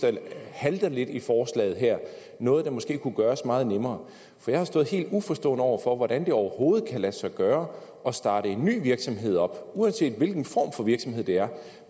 halter lidt i forslaget her noget der måske kunne gøres meget nemmere for jeg har stået helt uforstående over for hvordan det overhovedet kan lade sig gøre at starte en ny virksomhed op uanset hvilken form for virksomhed det er